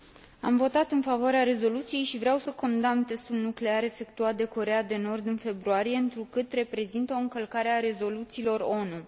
Am votat în favoarea rezoluției și vreau să condamn testul nuclear efectuat de Coreea de Nord în februarie, întrucât reprezintă o încălcare a rezoluțiilor ONU.